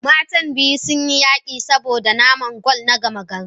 matan biyu sun yi yaƙi saboda naman gwal na gama-gari